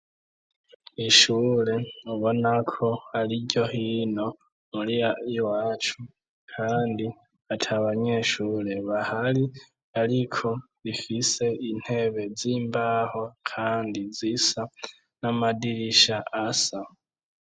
ishure ubonako ari iryo. hino iwacu kandi atabanyeshure bahari , ariko rifise intebe zimbaho kandi zisa , n'amadirisha asa.